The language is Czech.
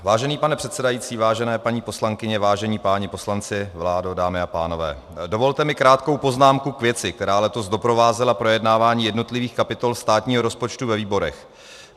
Vážený pane předsedající, vážené paní poslankyně, vážení páni poslanci, vládo, dámy a pánové, dovolte mi krátkou poznámku k věci, která letos doprovázela projednávání jednotlivých kapitol státního rozpočtu ve výborech.